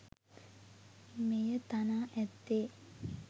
මෙය තනා ඇත්තේ